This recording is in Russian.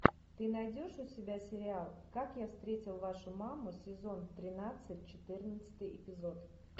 ты найдешь у себя сериал как я встретил вашу маму сезон тринадцать четырнадцатый эпизод